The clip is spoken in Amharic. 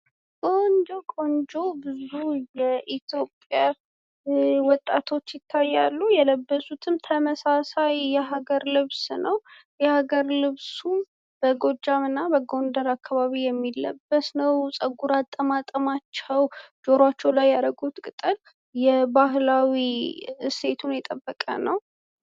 ቆንጆ ቆንጆ ብዙ የኢትዮዽያ ውጣቶች ይታያሉ። የለበሱትም ተመሳሳይ የሀገር ልብስ ነው። የ ሀገር ልብሱም በጎጃም እና በጎንደር አካባቢ የሚለበስ ነው። ፀጉራቸውም የባህላዊ እሴቱን የጠበቀ ነው።